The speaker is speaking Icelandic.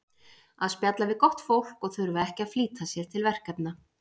Að spjalla við gott fólk og þurfa ekki að flýta sér til verkefna.